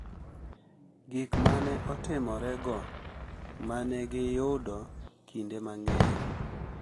Gik ma ne otimorego ma ne giyudo kinde mang’eny